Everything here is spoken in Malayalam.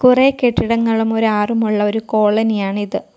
കുറെ കെട്ടിടങ്ങളും ഒരു ആറുമുള്ളൊ ഒരു കോളനിയാണിത് .